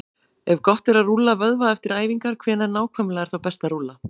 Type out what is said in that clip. Ef gott er að rúlla vöðva eftir æfingar, hvenær nákvæmlega er þá best að rúlla?